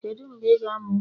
Kedu mgbe ị ga-amụ nwa?